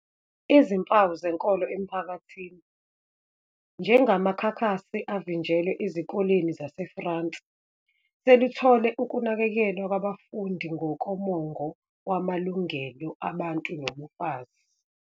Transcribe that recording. izimpawu zenkolo emphakathini, njengamakhakhasi avinjelwe ezikoleni zaseFrance, seluthole ukunakekelwa kwabafundi ngokomongo wamalungelo abantu nobufazi.